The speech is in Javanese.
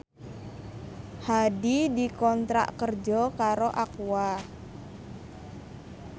Hadi dikontrak kerja karo Aqua